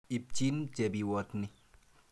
Ipchin Chebiwott ni.